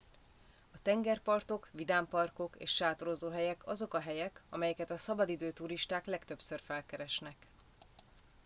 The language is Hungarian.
a tengerpartok vidámparkok és sátorozóhelyek azok a helyek amelyeket a szabadidő turisták legtöbbször felkeresnek